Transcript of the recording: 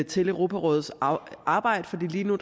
til europarådets arbejde for lige nu